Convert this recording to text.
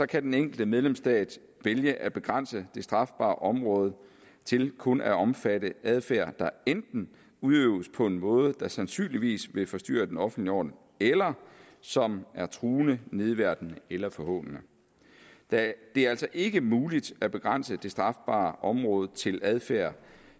kan den enkelte medlemsstat vælge at begrænse det strafbare område til kun at omfatte adfærd der enten udøves på en måde der sandsynligvis vil forstyrre den offentlige orden eller som er truende nedværdigende eller forhånende det er altså ikke muligt at begrænse det strafbare område til adfærd